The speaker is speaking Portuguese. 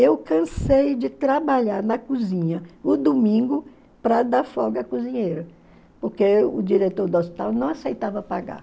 Eu cansei de trabalhar na cozinha o domingo para dar folga à cozinheira, porque o diretor do hospital não aceitava pagar.